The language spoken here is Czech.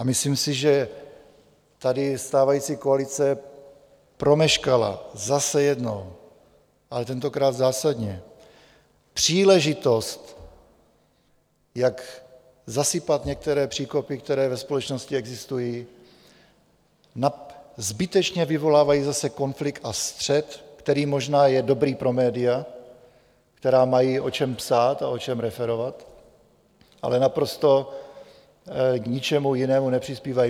A myslím si, že tady stávající koalice promeškala zase jednou, ale tentokrát zásadně, příležitost, jak zasypat některé příkopy, které ve společnosti existují, zbytečně vyvolávají zase konflikt a střet, který je možná dobrý pro média, která mají o čem psát a o čem referovat, ale naprosto k ničemu jinému nepřispívají.